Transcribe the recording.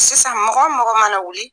Sisan mɔgɔ mɔgɔ mana wuli